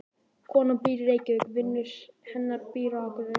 Konan býr í Reykjavík. Vinur hennar býr á Akureyri.